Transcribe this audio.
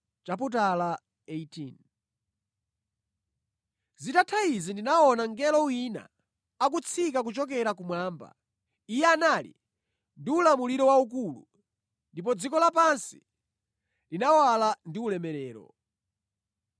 Zitatha izi ndinaona mngelo wina akutsika kuchokera kumwamba. Iye anali ndi ulamuliro waukulu, ndipo dziko lapansi linawala ndi ulemerero.